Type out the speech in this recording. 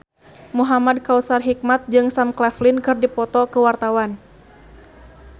Muhamad Kautsar Hikmat jeung Sam Claflin keur dipoto ku wartawan